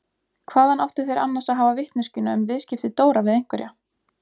Hvaðan áttu þeir annars að hafa vitneskjuna um viðskipti Dóra við einhverja?